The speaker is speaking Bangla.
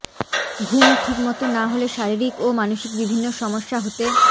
ঘুম ঠিকমতো না হলে শারীরিক ও মানসিক বিভিন্ন সমস্যা হতে